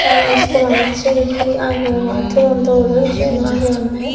aro school say he agay ogay toyoun dol oya seyan agay eyona.